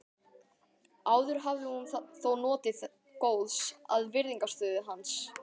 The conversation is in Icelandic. Áður hafði hún þó notið góðs af virðingarstöðu hans.